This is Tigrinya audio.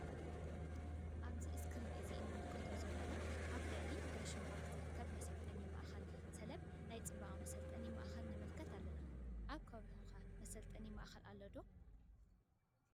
እዚ ኣብ እስክሪን እንምልከቶ ዘለና መስሊ ኣብ ልዕሊ ዳሽን ባንክ ዝርከብ መሰለጠኒ ማእከል ሰብለ ናይ ፅባቀ መሰልጠኒ ማእከል ነመልከት ኣለና። ኣብ ከባቢኩመ መሰልጠኒ ማእከል አሎ ዶ?